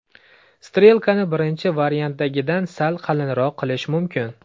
Strelkani birinchi variantdagidan sal qalinroq qilish mumkin.